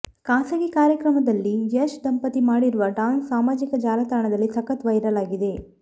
ಖಾಸಗಿ ಕಾರ್ಯಕ್ರಮದಲ್ಲಿ ಯಶ್ ದಂಪತಿ ಮಾಡಿರುವ ಡ್ಯಾನ್ಸ್ ಸಾಮಾಜಿಕ ಜಾಲತಾಣದಲ್ಲಿ ಸಖತ್ ವೈರಲ್ ಆಗಿದೆ